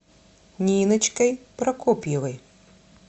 ниночкой прокопьевой